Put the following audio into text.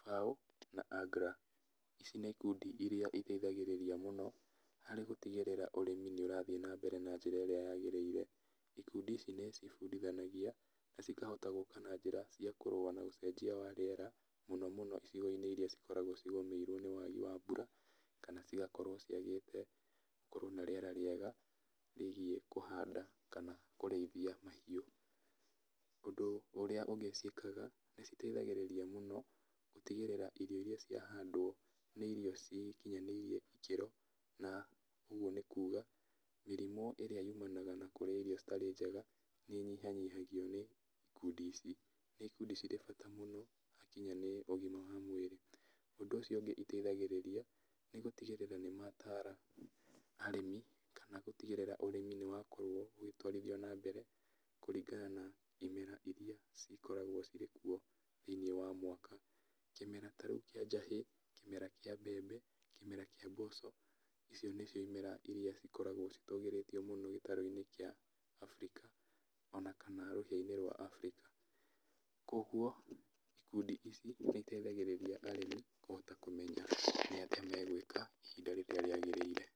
FAO, na AGRA, ici nĩ ikundi iria iteithagĩrĩria mũno, harĩ gũtigĩrĩra ũrĩmi nĩũrathi nambere na njĩra ĩrĩa yagĩrĩire, ikundi ici nĩcibundithanangia, na cikahota gũka na njĩra cia kũrũa na ũcenjia wa rĩera, mũno mũno icigo-inĩ iria cikoragwo cigũmĩirwo nĩ wagi wa mbura, kana cigakorwo ciagĩte gũkowo na rĩera rĩega, rĩgiĩ kũhanda kana kũrĩithia mahiũ, ũndũ ũrĩa ũngĩ ciĩkaga, nĩciteithagĩrĩria mũno gũtigĩrĩra irio iria ciatiga handũ, nĩ irio cikinyanĩirie ikĩro, na ũguo nĩkuga, mĩrimũ ĩrĩa yumanaga na kũrĩa irio citarĩ njega, nĩnyihanyihagio nĩ ikundi ici, nĩ ikundi cirĩ bata mũno hakinya nĩ ũgima wa mwĩrĩ, ũndũ ũcio ũngĩ iteithagĩrĩria, nĩgũtigĩrĩra nĩmatara arĩmi kana gũtigĩrĩra ũrĩmi nĩwakorwo ũgĩtwarithio nambere kũringana na imera iria cikoragwo cirĩ kuo thĩ-inĩ wa mwaka, kĩmera ta rĩu kĩa njahĩ, kĩmera kĩa mbembe, kĩmera kĩa mboco, icio nĩcio imera iria cikoragwo citũgĩrĩtio mũno gĩtarũ-inĩ kĩa afrika, ona kana rũhĩ-inĩ rwa afrika, koguo, ikundi ici, nĩciteithagĩrĩrira arĩmi kũhota kũemenya nĩ atĩa megwĩka ihinda rĩrĩa rĩagĩrĩire.